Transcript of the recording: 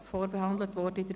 Vorberaten wurde er in